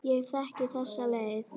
Ég þekki þessa leið.